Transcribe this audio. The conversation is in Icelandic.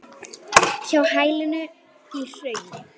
Hjá hælinu í hrauni.